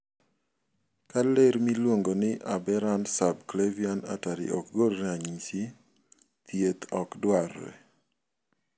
Ka ler miuongo ni aberrant subclavian artery ok gol ranyisi, thieth ok dwarre.